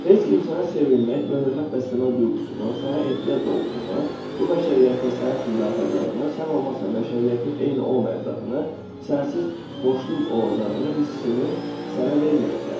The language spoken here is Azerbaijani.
Heç kim sənə sevilmək və hörmət bəsləmək duyğusunu, sənə ehtiyac olduğunu, bu bəşəriyyətə sənin üçün darıxacağını, sən olmasan bəşəriyyətin eyni olmayacağını, sənsiz boşluq olacağını hissini sənə verməyiblər.